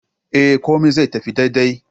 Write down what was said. Eh, komai zai tafi dadi dai